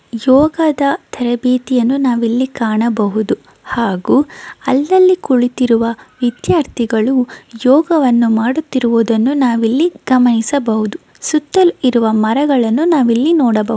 ಯೋಗದ ತರಬೇತಿಯನ್ನು ನಾವಿಲ್ಲಿ ಕಾಣಬಹುದು ಹಾಗು ಅಲ್ಲಲ್ಲಿ ಕುಳಿತಿರುವ ವಿದ್ಯಾರ್ಥಿಗಳು ಯೋಗವನ್ನು ಮಾಡುತಿರುವುದನ್ನು ನಾವಿಲ್ಲಿ ಗಮನಿಸಬಹುದು ಸುತ್ತಲ್ ಇರುವ ಮರಗಳನ್ನು ನಾವಿಲ್ಲಿ ನೋಡಬಹುದು.